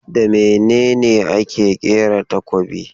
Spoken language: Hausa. Da mene ne ake kera takobin?